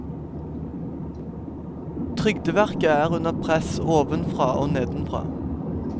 Trygdeverket er under press, ovenfra og nedenfra.